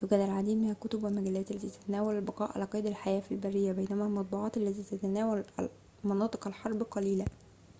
يوجد العديد من الكتب والمجلات التي تتناول البقاء على قيد الحياة في البرية بينما المطبوعات التي تتناول مناطق الحرب قليلة